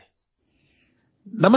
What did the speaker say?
audio